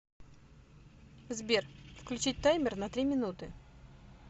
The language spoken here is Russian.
сбер включить таймер на три минуты